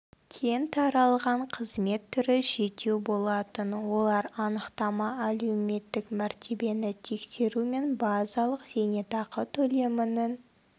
кең таралған қызмет түрі жетеу болатын олар анықтама әлеуметтік мәртебені тексеру мен базалық зейнетақы төлемінің